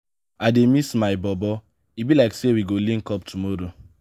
i dey miss my bobo e be like sey we go link up tomorrow.